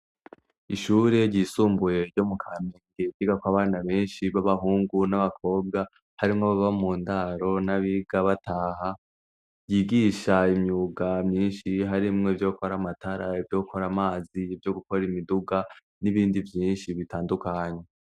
Ishuri ryisumbuye ryo mu kamenge ryigako abana beshi babahungu n'abakobwa harimwo ababa mu ndaro nabiga bataha ryigisha imyuga myishi harimwo ivyo gukora amatara ivyo gukora amazi ivyo gukora imiduga n'ibindi bintu bitandukanye.